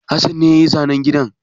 Hassan ne ya yi zanen gidan.